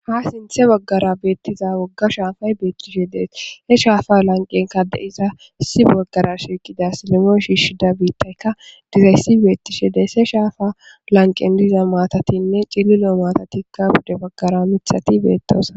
ha sinthe baggara beettiza wogga shaafay beettishedes he shaafa lanqen kade7iza isi boggara shiiqida silimoo shiishida biittaykka dirayssi beettishe dees he shaafa lanqen diza maatatinne cililo maatatikka bude baggara mithati beettosa